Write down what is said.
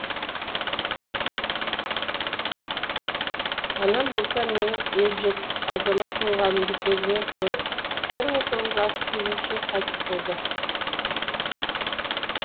анам болса менің ержетіп азамат болғанымды көзімен көріп бір мың тоғыз жүз алпыс сегізінші жылы қайтыс болды